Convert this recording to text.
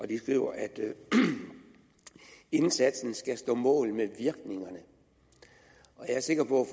de skriver at indsatsen skal stå mål med virkningerne og jeg er sikker på